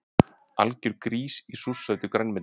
Algjör grís í súrsætu grænmeti